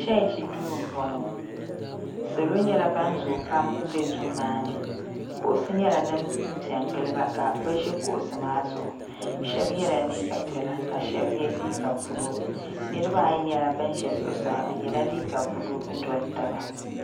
Chechi duu m boŋɔ salo nyɛla ban zoo pam m be duu maani kuɣusi nyɛla din piɛ n giliba ka bɛ ʒi kuɣusi maa zuɣu sheba yela liiga piɛla ka sheba ye liiga buluu niriba ayi nyɛla bin ʒɛ zuɣusaa bɛ yela liiga buluu n doli taba.